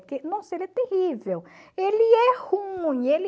Porque, nossa, ele é terrível, ele é ruim, ele...